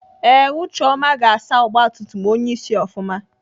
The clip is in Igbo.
Ee ucheọma ga-asa ọgbatumtum onyeisi ofụma.